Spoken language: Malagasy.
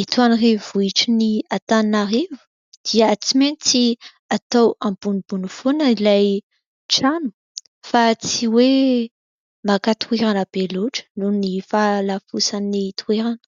eto amin'ny renivohitr'Antananarivo dia tsy maintsy atao ambonimbony foana ilay trano fa tsy hoe maka toerana be loatra noho ny falafosan'ny toerana.